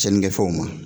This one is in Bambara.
Cɛnnikɛ fɛnw ma